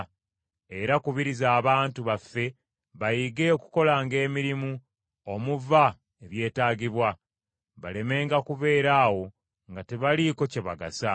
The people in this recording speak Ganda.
Era kubiriza abantu baffe bayige okukolanga emirimu omuva ebyetaagibwa, balemenga kubeera awo nga tebaliiko kye bagasa.